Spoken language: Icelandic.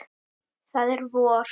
Það er vor.